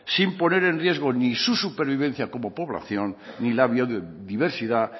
sin poner el riesgo ni su supervivencia como población ni la biodiversidad